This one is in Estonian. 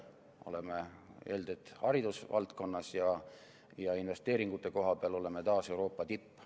Öeldi, et haridusvaldkonnas ja investeeringute koha pealt olime taas Euroopa tipp.